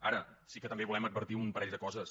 ara sí que també volem advertir un parell de coses